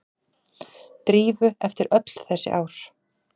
Drífu eftir öll þessi ár.